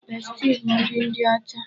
Besti bụ nri ndị ọcha.